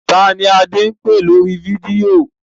Ta ni Adé ń pè lórí fídíò?